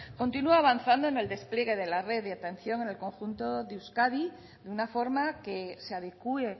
continúe avanzando en el despliegue de la red de atención en el conjunto de euskadi de una forma que se adecúe